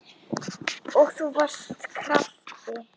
Og þú varst krati.